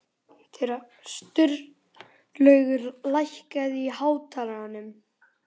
Sturlaugur, lækkaðu í hátalaranum.